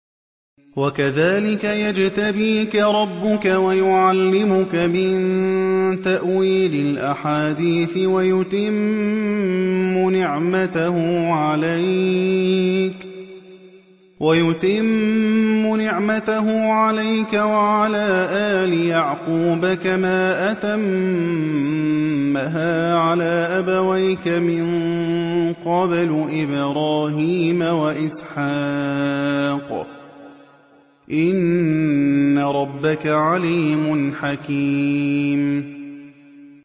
وَكَذَٰلِكَ يَجْتَبِيكَ رَبُّكَ وَيُعَلِّمُكَ مِن تَأْوِيلِ الْأَحَادِيثِ وَيُتِمُّ نِعْمَتَهُ عَلَيْكَ وَعَلَىٰ آلِ يَعْقُوبَ كَمَا أَتَمَّهَا عَلَىٰ أَبَوَيْكَ مِن قَبْلُ إِبْرَاهِيمَ وَإِسْحَاقَ ۚ إِنَّ رَبَّكَ عَلِيمٌ حَكِيمٌ